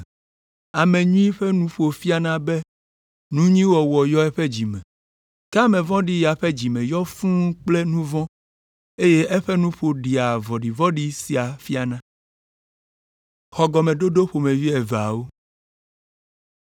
Ame nyui ƒe nuƒo fiana be nu nyui wɔwɔ yɔ eƒe dzi me. Ke ame vɔ̃ɖi ya ƒe dzi me yɔna fũu kple nu vɔ̃, eye eƒe nuƒo ɖea vɔ̃ɖivɔ̃ɖi sia fiana.